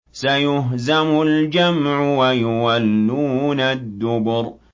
سَيُهْزَمُ الْجَمْعُ وَيُوَلُّونَ الدُّبُرَ